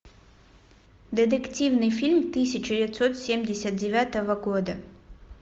детективный фильм тысяча девятьсот семьдесят девятого года